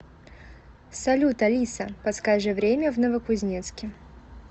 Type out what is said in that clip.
салют алиса подскажи время в новокузнецке